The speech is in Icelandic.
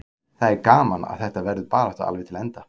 Það er gaman að þetta verður barátta alveg til enda.